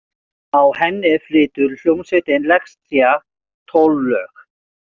Á henni flytur hljómsveitin Lexía tólf lög.